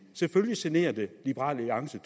selvfølgelig generer det liberal alliance